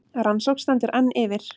Rannsókn stendur enn yfir